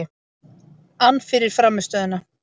ann fyrir frammistöðuna.